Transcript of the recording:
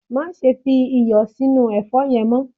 Máse fi iyò sí inú èfó yen mo